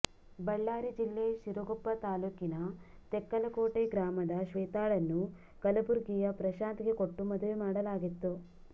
ಬಳ್ಳಾರಿ ಜಿಲ್ಲೆ ಸಿರುಗುಪ್ಪಾ ತಾಲೂಕಿನ ತೆಕ್ಕಲಕೋಟೆ ಗ್ರಾಮದ ಶ್ವೇತಾಳನ್ನು ಕಲಬುರ್ಗಿಯ ಪ್ರಶಾಂತ್ ಗೆ ಕೊಟ್ಟು ಮದುವೆ ಮಾಡಲಾಗಿತ್ತು